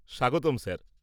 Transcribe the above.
স্বাগতম স্যার।